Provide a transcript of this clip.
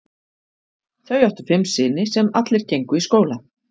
Þau áttu fimm syni sem allir gengu í skóla.